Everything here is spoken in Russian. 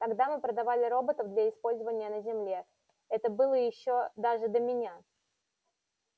тогда мы продавали роботов для использования на земле это было ещё даже до меня